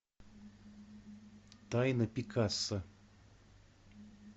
тайна пикассо